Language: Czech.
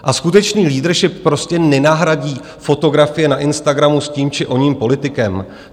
A skutečný leadership prostě nenahradí fotografie na Instagramu s tím či oním politikem.